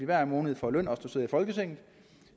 hver måned får løn